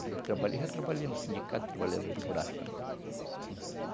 Quando eu trabalhei, já trabalhei no sindicato de trabalhadores rurais também.